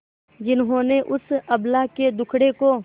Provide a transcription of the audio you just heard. जिन्होंने उस अबला के दुखड़े को